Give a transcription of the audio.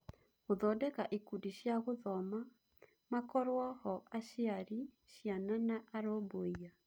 Gũthondeka ikundi cia gũthoma: Makorwo-ho aciari, ciana, na arũmbũiya .